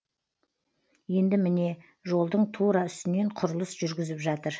енді міне жолдың тура үстінен құрылыс жүргізіп жатыр